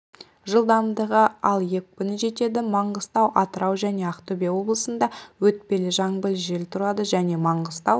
және атырау облыстарында кей жерлерінде тұман батыс қазақстан облысының аумағында синоптиктер жаңбыр жауады тұман түседі